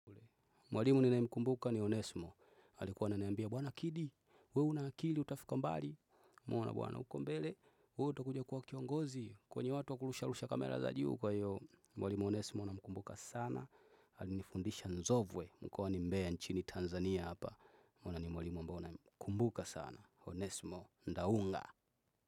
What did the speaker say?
Mwalimu ninae mkumbuka ni Onesmo alikuwa ananiambia bwana kidi. We una akili utafika mbali. Mwana bwana uko mbele. We utakuja kuwa kiongozi. Kwenye watu wakurusha rusha kamera za juu kwa hiyo Mwalimu Onesmo namkumbuka sana alini fundisha nzovwe. Mkoa ni mbea nchini Tanzania hapa. Mwana ni mwalimu ambao namkumbuka sana Onesmo ndaunga.